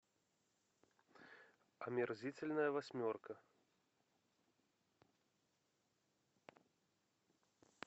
омерзительная восьмерка